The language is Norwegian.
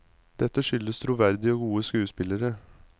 Dette skyldes troverdige og gode skuespillere.